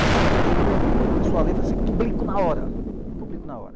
O cara leu o meu livro, começou a ler e falou assim, ''publico na hora, publico na hora.''